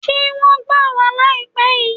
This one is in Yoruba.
Ṣé wọ́n gbà wá láìpé yìí?